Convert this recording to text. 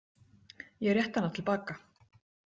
Ég rétti hana til baka.